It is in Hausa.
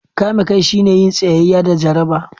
Kame kai shine yin tsayayya da jaraba.